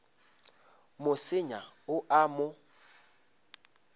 mo senya o a mo